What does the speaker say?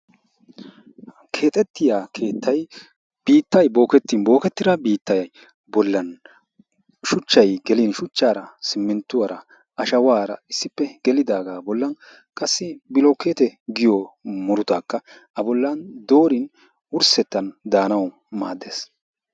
Ha keexettiya keettayi biittayi bookettin bookettida biittayi shuchchayi gelin shuchchaara simminttuwara ashawaara issippe gelidaagaa bollan qassi bulukkeete giyo murutaakka a bollan doorin wurssettan daanawu maaddes.